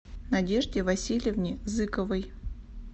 надежде васильевне зыковой